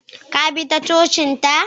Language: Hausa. ka bi ta cocinta?